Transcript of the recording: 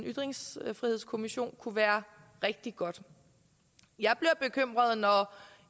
ytringsfrihedskommission kunne være rigtig godt jeg bliver bekymret når